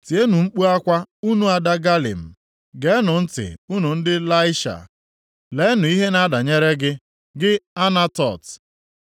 Tienụ mkpu akwa unu ada Galim, geenụ ntị unu ndị Laisha! Leenụ ihe na-adanyere gị, gị Anatot!